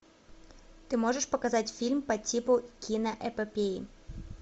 ты можешь показать фильм по типу киноэпопеи